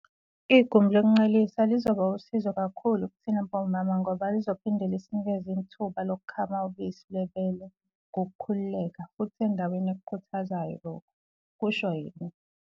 "Igumbi lokuncelisela lizoba wusizo kakhulu kithina bomama ngoba lizophinde lisinikeze ithuba lokukhama ubisi lwebele ngokukhululeka futhi endaweni ekukhuthazayo lokhu," kusho yena.